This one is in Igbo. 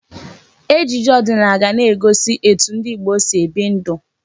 Ejije ọdịnala ga na-egosi etu ndị Igbo si ebi ndụ.